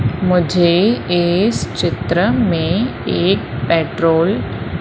मुझे इस चित्र में एक पेट्रोल --